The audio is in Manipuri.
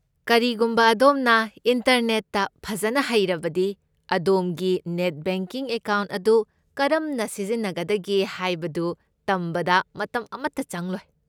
ꯀꯔꯤꯒꯨꯝꯕ ꯑꯗꯣꯝꯅ ꯏꯟꯇꯔꯅꯦꯠꯇ ꯐꯖꯅ ꯍꯩꯔꯕꯗꯤ, ꯑꯗꯣꯝꯒꯤ ꯅꯦꯠ ꯕꯦꯡꯀꯤꯡ ꯑꯦꯀꯥꯎꯟꯠ ꯑꯗꯨ ꯀꯔꯝꯅ ꯁꯤꯖꯤꯟꯅꯒꯗꯒꯦ ꯍꯥꯏꯕꯗꯨ ꯇꯝꯕꯗ ꯃꯇꯝ ꯑꯃꯠꯇ ꯆꯪꯂꯣꯏ꯫